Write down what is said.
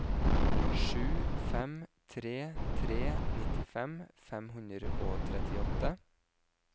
sju fem tre tre nittifem fem hundre og trettiåtte